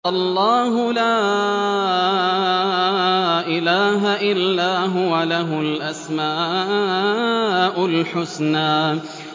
اللَّهُ لَا إِلَٰهَ إِلَّا هُوَ ۖ لَهُ الْأَسْمَاءُ الْحُسْنَىٰ